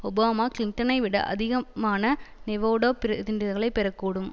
Obama கிளின்டனை விட அதிகமான நெவேடா பிரதிநிதிகளை பெற கூடும்